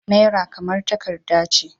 Naira kamar takarda ce.